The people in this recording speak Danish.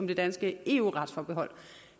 det danske eu retsforbehold